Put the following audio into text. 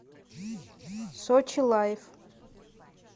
сочи лайв